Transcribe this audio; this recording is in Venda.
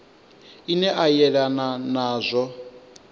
ine a yelana na zwa